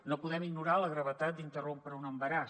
no podem ignorar la gravetat d’interrompre un embaràs